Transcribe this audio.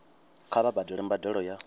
kha vha badele mbadelo ya